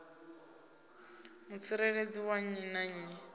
mutsireledzi wa nnyi na nnyi